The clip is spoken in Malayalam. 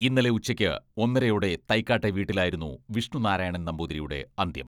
ഇന്നലെ ഉച്ചയ്ക്ക് ഒന്നരയോടെ തൈക്കാട്ടെ വീട്ടിലായിരുന്നു വിഷ്ണു നാരായണൻ നമ്പൂതിരിയുടെ അന്ത്യം.